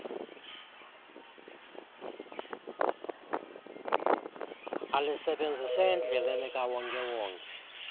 alisebenzise endleleni kawonkewonke